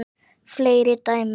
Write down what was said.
Fleiri dæmi